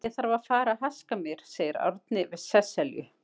Ég þarf að fara að haska mér, segir Árni við Sesselju.